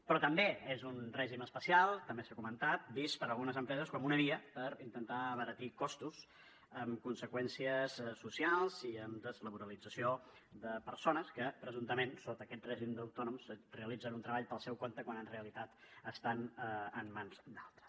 però també és un règim especial també s’ha comentat vist per algunes empreses com una via per intentar abaratir costos amb conseqüències socials i amb deslaboralització de persones que presumptament sota aquest règim d’autònoms realitzen un treball pel seu compte quan en realitat estan en mans d’altres